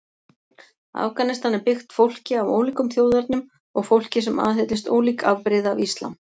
Afganistan er byggt fólki af ólíkum þjóðernum og fólki sem aðhyllist ólík afbrigði af islam.